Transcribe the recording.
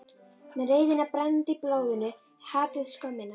Með reiðina brennandi í blóðinu, hatrið, skömmina.